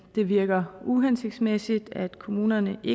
det virker uhensigtsmæssigt at kommunerne i